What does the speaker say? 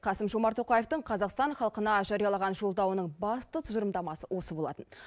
қасым жомарт тоқаевтың қазақстан халқына жариялаған жолдауының басты тұжырымдамасы осы болатын